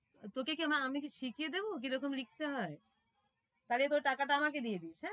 তোকে কি আমি কি শিখিয়ে দেবো কি রকম লিখতে হয়? তাহলে তোর টাকাটা আমাকে দিস হ্যাঁ